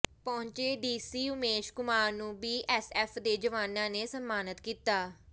ਪਹੁੰਚੇ ਡੀਸੀ ਉਮੇਸ਼ ਕੁਮਾਰ ਨੂੰ ਬੀਐੱਸਐੱਫ ਦੇ ਜਵਾਨਾਂ ਨੇ ਸਨਮਾਨਤ ਕੀਤਾ